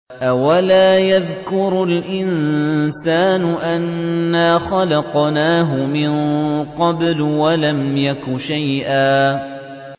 أَوَلَا يَذْكُرُ الْإِنسَانُ أَنَّا خَلَقْنَاهُ مِن قَبْلُ وَلَمْ يَكُ شَيْئًا